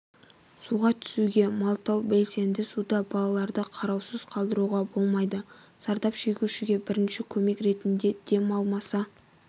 суға түсуге малтау білседе суда балаларды қараусыз қалдыруға болмайды зардап шегушіге бірінші көмек ретінде демалмаса